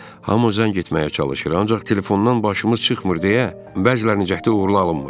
Hamı zəng etməyə çalışır, ancaq telefondan başımız çıxmır deyə, bəzilərinin cəhdi uğurlu alınmır.